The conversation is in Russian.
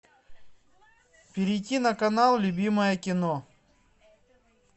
перейти на канал любимое кино